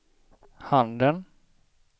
handen